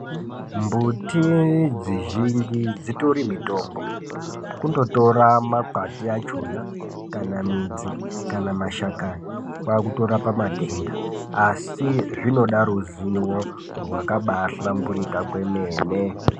Mbuti dzizhinji dzitori mutombo. Kundotora makwati achona, kana midzi, kana mashakani, kwaakutorapa matenda. Asi zvinoda ruzivo rwakabaahlamburika kwemene.